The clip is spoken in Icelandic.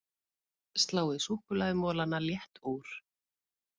Sláið súkkulaðimolana létt úr